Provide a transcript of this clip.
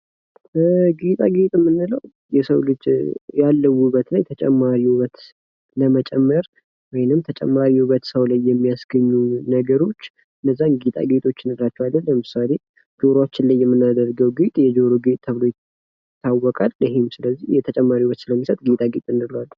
ጌጣጌጥ የምንለው የሰው ልጀ ያለው ውበት ላይ ተጨማሪ ውበት ለመጨመር ወይንም ተጨማሪ ውበት የሰው ላይ የሚያስገኙ ነገሮች እነዛን ጌጣጌጥ እንላቸዋለን። ለምሳሌ ጆሮአችን ላይ የምናደርጋቸው ጌጥ የጀሮ ጌጥ ተብሎ ይታወቃል። ይህም ስለዚህ ተጨማሪ ጌጥ ስለሚሰጥ ጌጣ ጌጥ እንለዋለን።